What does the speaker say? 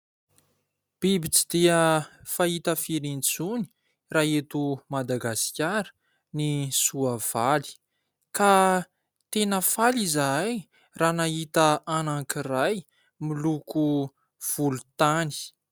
Biby tsy dia fahita firy intsony raha eto Madagasikara ny soavaly ka tena faly izahay raha nahita anankiray miloko volontany.